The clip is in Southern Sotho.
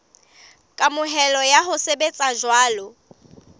kamohelo ya ho sebetsa jwalo